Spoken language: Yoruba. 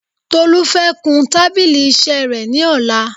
Tolú fẹ́ kun tábílì iṣẹ́ rẹ̀ ni ọ̀la